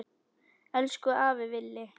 Elsku afi Villi.